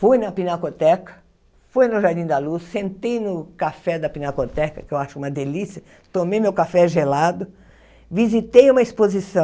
Fui na Pinacoteca, fui no Jardim da Luz, sentei no café da Pinacoteca, que eu acho uma delícia, tomei meu café gelado, visitei uma exposição.